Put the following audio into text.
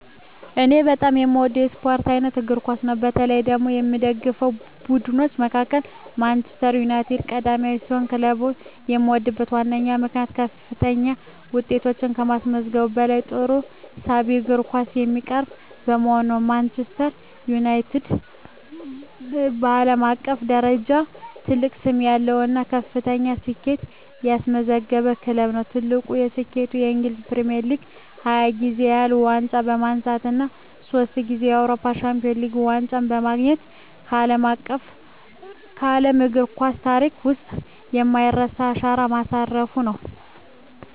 እኔ በጣም የምወደው የስፖርት አይነት እግር ኳስ ነው። በተለይ ደግሞ ከምደግፋቸው ቡድኖች መካከል ማንቸስተር ዩናይትድ ቀዳሚ ሲሆን፣ ክለቡን የምወድበት ዋነኛው ምክንያት ከፍተኛ ውጤቶችን ከማስመዝገቡም በላይ ጥሩና ሳቢ የእግር ኳስ የሚያቀርብ በመሆኑ ነው። ማንቸስተር ዩናይትድ (ማን ዩ) በዓለም አቀፍ ደረጃ ትልቅ ስም ያለው እና ከፍተኛ ስኬቶችን ያስመዘገበ ክለብ ነው። ትልቁ ስኬቱም በእንግሊዝ ፕሪሚየር ሊግ 20 ጊዜ ያህል ዋንጫ በማንሳት እና ሶስት ጊዜ የአውሮፓ ቻምፒየንስ ሊግ ዋንጫን በማግኘት በዓለም እግር ኳስ ታሪክ ውስጥ የማይረሳ አሻራ ማሳረፉ ነው።